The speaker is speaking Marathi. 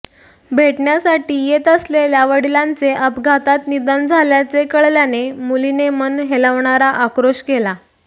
भेटण्यासाठी येत असलेल्या वडीलांचे अपघातात निधन झाल्याचे कळल्याने मुलीने मन हेलावणारा आक्रोश केला